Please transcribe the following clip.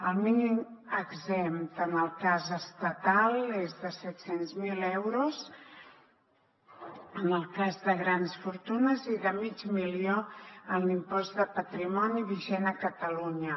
el mínim exempt en el cas estatal és de set cents miler euros en el cas de grans fortunes i de mig milió en l’impost de patrimoni vigent a catalunya